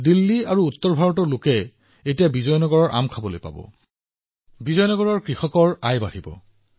দিল্লী আৰু উত্তৰ ভাৰতৰ মানুহে বিজয়নগৰম আমৰ সোৱাদ লাভ কৰিব আৰু বিজয়নগৰমৰ কৃষকসকলে ভাল উপাৰ্জন কৰিব